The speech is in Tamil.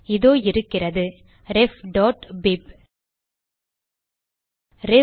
இதோ இருக்கிறது refபிப்